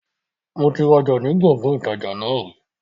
Moti ra ọjà ni Gbọ̀ngán ìtajà náà ri